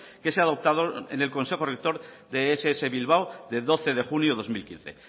que se ha adoptado en el consejo rector de ess bilbao de doce de junio dos mil quince